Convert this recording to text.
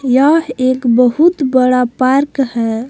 यह एक बहुत बड़ा पार्क है।